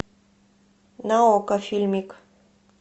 на окко фильмик